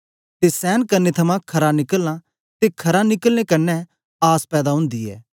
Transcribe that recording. ते सेंन करने थमां खरा निकलना ते खरा निकलने कन्ने आस पैदा ओंदी ऐ